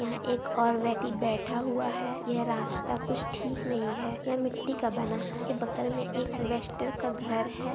यहाँ एक और व्यक्ति बैठा हुआ है यह रास्ता कुछ ठीक नहीं है यह मिट्टी का बना है इसके बगल मे एक एलिबेस्टर का घर है।